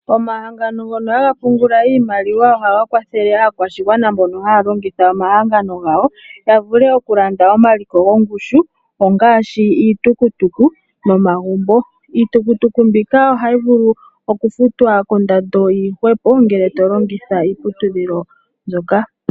Omahangano ngono haga pungula iimaliwa ohaga kwathele aakwashigwana mbono haya longitha omahangano gawo ya vule ok